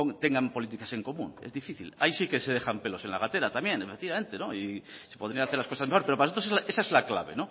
tengan políticas en común es difícil ahí sí que se dejan pelos en la gatera también efectivamente y se podrían hacer las cosas mejor pero para nosotros esa es la clave